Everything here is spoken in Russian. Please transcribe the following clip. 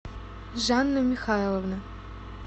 жанна михайловна